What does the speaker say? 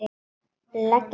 Leggja það í rúst!